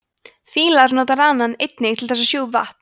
fílar nota ranann einnig til þess að sjúga upp vatn